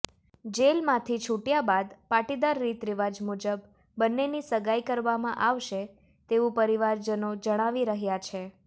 જેલમાંથી છૂટ્યા બાદ પાટીદાર રીતરિવાજ મુજબ બંનેની સગાઇ કરવામાં આવશે તેવું પરિવારજનો જણાવી રહ્યાં છે